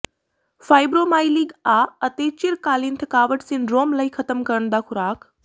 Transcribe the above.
fibromyalgia ਅਤੇ ਚਿਰਕਾਲੀਨ ਥਕਾਵਟ ਸਿੰਡਰੋਮ ਲਈ ਖ਼ਤਮ ਕਰਨ ਦਾ ਖ਼ੁਰਾਕ